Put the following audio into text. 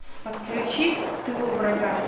подключи в тылу врага